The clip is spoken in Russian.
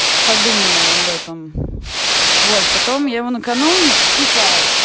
подумай об этом вот потом его накануне тиха